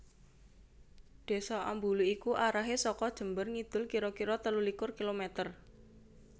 Désa Ambulu iku arahe saka Jember ngidul kira kira telulikur kilometer